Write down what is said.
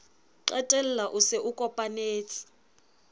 qetella o se o kopanetse